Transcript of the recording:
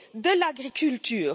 de l'agriculture.